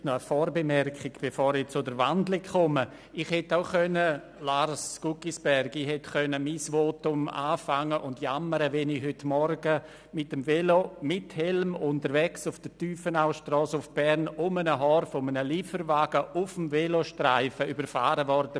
Eine Vorbemerkung, bevor ich zur Wandlung komme: Lars Guggisberg, ich hätte am Anfang meines Votums darüber jammern können, wie ich heute Morgen mit Velo und Helm auf der Tiefenaustrasse nach Bern auf dem Velostreifen um ein Haar von einem Lieferwagen überfahren wurde.